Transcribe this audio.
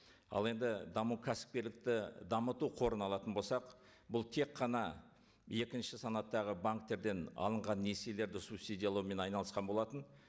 ал енді даму кәсіпкерлікті дамыту қорын алатын болсақ бұл тек қана екінші санаттағы банктерден алынған несиелерді субсидиялаумен айналысқан болатын